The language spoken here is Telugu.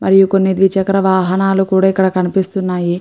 మరియు కొన్ని ద్విచక్ర వాహనాలు కూడా ఇక్కడ కనిపిస్తున్నాయి.